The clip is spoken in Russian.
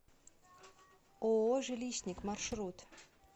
ооо жилищник маршрут